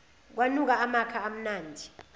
kwanuka amakha amnandi